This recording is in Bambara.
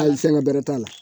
Hali fɛngɛ bɛrɛ t'a la